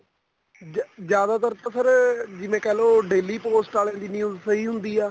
ਜੀਆ ਜਿਆਦਾਤਰ ਤਾਂ sir ਜਿਵੇਂ ਕਹਿਲੋ daily post ਵਾਲੇ ਦੀ news ਸਹੀ ਹੁੰਦੀ ਆ